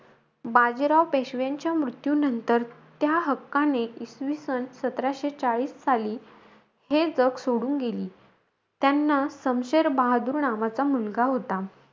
बाजीराव पेशव्यांच्या मृत्यूनंतर, त्या हक्काने, इसवीसन सतराशे चाळीस साली, हे जग सोडून गेली. त्यांना समशेर बहादूर नावाचा मुलगा होता.